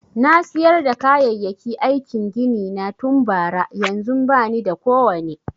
Na siyar da kayayyaki aikin gini na tun bara, yanzun ba ni da kowane.